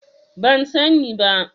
Ban sani ba.